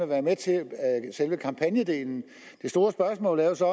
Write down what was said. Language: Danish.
være med til selve kampagnedelen det store spørgsmål er jo så